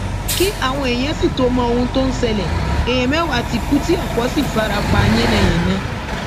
kí àwọn èèyàn sì tóó mọ ohun tó ń ṣẹlẹ èèyàn mẹwàá ti kú tí ọpọ sì fara pa yánnayànna